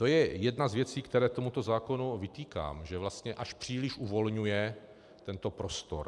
To je jedna z věcí, kterou tomuto zákonu vytýkám, že vlastně až příliš uvolňuje tento prostor.